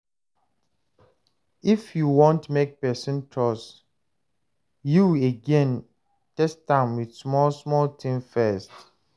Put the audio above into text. If you want make person trust you again, test am with small small things first